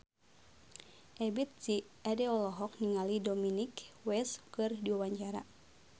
Ebith G. Ade olohok ningali Dominic West keur diwawancara